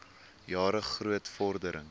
jare groot vordering